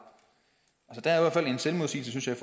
der er fald en selvmodsigelse i